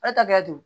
E ta kɛ don